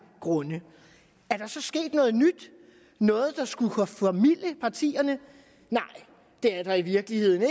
grunde er der så sket noget nyt noget der skulle kunne formilde partierne nej det er der i virkeligheden